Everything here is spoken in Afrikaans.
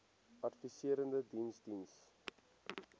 adviserende diens diens